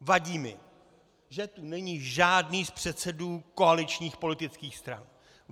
Vadí mi, že tu není žádný z předsedů koaličních politických stran.